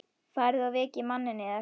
Farið og vekið manninn yðar.